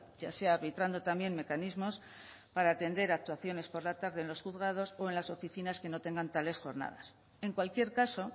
ya sea arbitrando también mecanismos para atender actuaciones por la tarde en los juzgados o en las oficinas que no tengan tales jornadas en cualquier caso